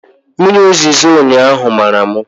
Mmiri zoro ụnyaahụ mara m